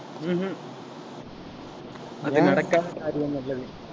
ஹம் உம் அது நடக்காத காரியம் அல்லவே